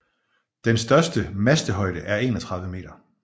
Den største mastehøjde er 31 meter